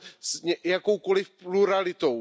s jakoukoliv pluralitou.